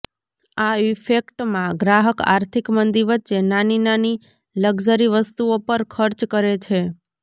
આ ઈફેક્ટમાં ગ્રાહક આર્થિક મંદી વચ્ચે નાની નાની લક્ઝરી વસ્તુઓ પર ખર્ચ કરે છે